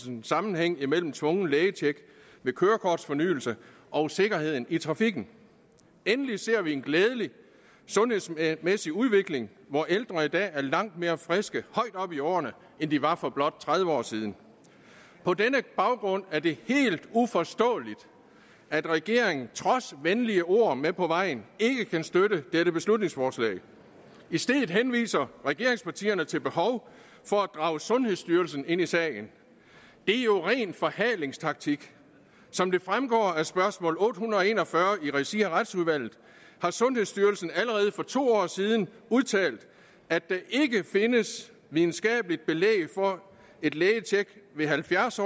en sammenhæng imellem et tvunget lægetjek ved kørekortfornyelse og sikkerheden i trafikken og endelig ser vi en glædelig sundhedsmæssig udvikling hvor ældre i dag er langt mere friske højt oppe i årene end de var for blot tredive år siden på denne baggrund er det helt uforståeligt at regeringen trods venlige ord med på vejen ikke kan støtte dette beslutningsforslag i stedet henviser regeringspartierne til behovet for at drage sundhedsstyrelsen ind i sagen det er jo ren forhalingstaktik som det fremgår af spørgsmål otte hundrede og en og fyrre i regi af retsudvalget har sundhedsstyrelsen allerede for to år siden udtalt at der ikke findes videnskabeligt belæg for at et lægetjek ved halvfjerds